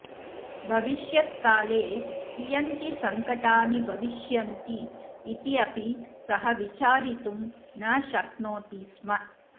भविष्यत्काले कियन्ति सङ्कटानि भविष्यन्ति इति अपि सः विचारितुं न शक्नोति स्म